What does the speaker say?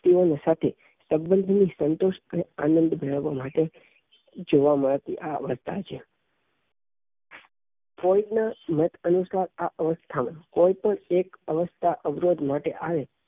વ્યક્તિઓ ની સાથે સંબંધો ની સંતુષ્ટ આનંદ મેળવવા માટે જોવાં માં આવતી આ અવસ્થા છે ફ્લોયડ નાં માહિતી અનુસાર આ અવસ્થા ને કોઈ પણ એક અવસ્થા અવરોધ માં આવે